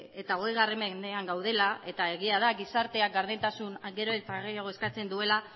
eta hogei mendean gaudela eta egia da gizarteak gardentasun gero eta gehiago eskatzen duela